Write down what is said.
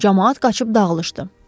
Camaat qaçıb dağılışdı.